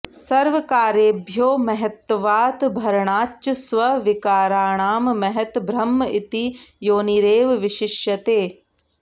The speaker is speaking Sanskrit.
सर्वकार्येभ्यो महत्त्वात् भरणाच्च स्वविकाराणां महत् ब्रह्म इति योनिरेव विशिष्यते